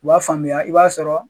U b'a faamuya i b'a sɔrɔ.